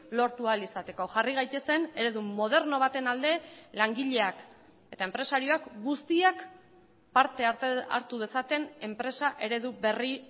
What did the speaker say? lortu ahal izateko jarri gaitezen eredu moderno baten alde langileak eta enpresariak guztiak parte hartu dezaten enpresa eredu berri